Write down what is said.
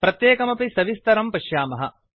प्रत्येकमपि सविस्तरं पश्यामः